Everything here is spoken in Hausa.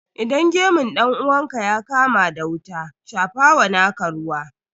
Idan gemun dan uwanka ya kama da wuta, shafa wa naka ruwa.